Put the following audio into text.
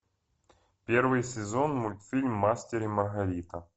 первый сезон мультфильм мастер и маргарита